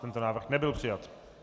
Tento návrh nebyl přijat.